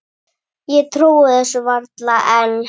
Ég trúi þessu varla enn.